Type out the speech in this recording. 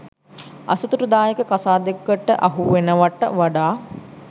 අසතුටුදායක කසාදෙකට අහුවෙනවට වඩා